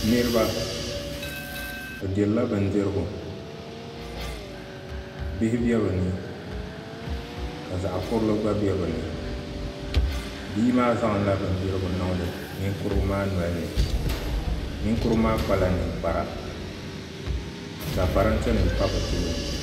Niraba bi dirila bindirigu bihi bɛ bi ni ka zaɣ kurili gba bɛ bi ni bia maa zaŋla bindirigu n niŋdi ninkurigu maa noli ni ninkurigu maa kpala ninkpara ka parantɛ nim pa bi tooni